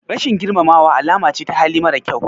Rashin girmamawa alama ce ta hali mara kyau.